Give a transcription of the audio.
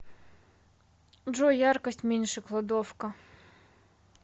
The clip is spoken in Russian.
джой яркость меньше кладовка